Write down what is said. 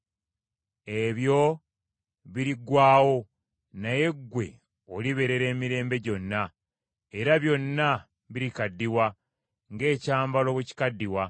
Ebyo biriggwaawo, naye ggwe olibeerera emirembe gyonna, era byonna birikaddiwa ng’ekyambalo bwe kikaddiwa.